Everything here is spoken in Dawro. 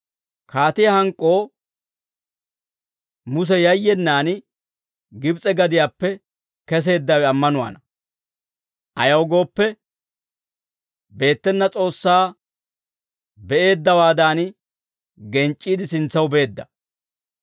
Kaatiyaa hank'k'oo Muse yayyenaan, Gibs'e gadiyaappe keseeddawe ammanuwaana; ayaw gooppe, beettena S'oossaa be'eeddawaadan, genc'c'iide sintsaw beedda.